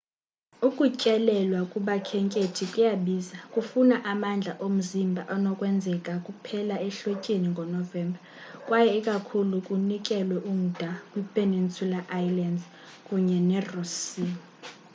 ukutyelelwa kubakhenkethi kuyabiza kufuna amandla omzimba anokwenzeka kuphela ehlotyeni ngo-novemba kwaye ikakhulu kunikelwe umda kwipeninsula islands kunye neross sea